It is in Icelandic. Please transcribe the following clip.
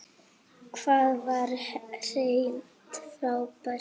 Hann var hreint frábær.